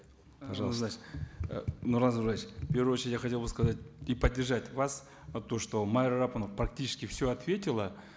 нурлан зайроллаевич в первую очередь я хотел бы сказать и поддержать вас в том что майра араповна практически все ответила